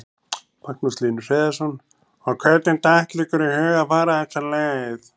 Magnús Hlynur Hreiðarsson: Og hvernig datt ykkur í hug að fara þessa leið?